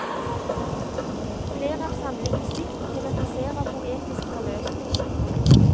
Flere av samlingens dikt tematiserer poetisk forløsning.